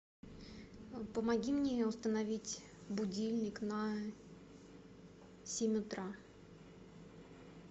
помоги мне установить будильник на семь утра